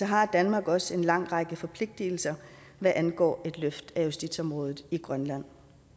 har danmark også en lang række forpligtigelser hvad angår et løft af justitsområdet i grønland